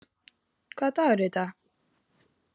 Hersir, hvaða dagur er í dag?